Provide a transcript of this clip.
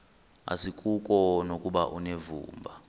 asikuko nokuba unevumba